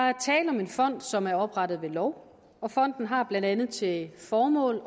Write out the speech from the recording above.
er tale en fond som er oprettet ved lov og fonden har blandt andet til formål